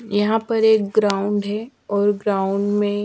यहाँ पर एक ग्राउंड है और ग्राउंड में--